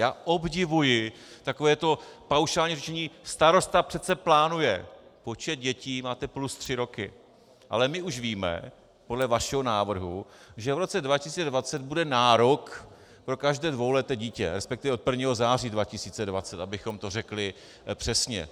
Já obdivuji takovéto paušální řečení - starosta přece plánuje počet dětí, máte plus tři roky, ale my už víme podle vašeho návrhu, že v roce 2020 bude nárok pro každé dvouleté dítě, respektive od 1. září 2020, abychom to řekli přesně.